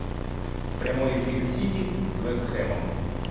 прямой эфир сити с вест хэмом